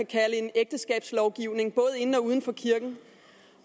kalde en ægteskabslovgivning både inden og uden for kirken